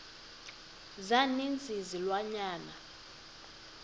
za ninzi izilwanyana